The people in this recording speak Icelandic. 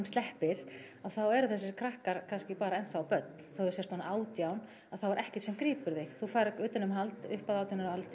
sleppir að þá eru þessir krakkar kannski bara enn þá börn þó þú sért orðinn átján að þá er ekkert sem grípur þig þú færð utanumhald upp að átján ára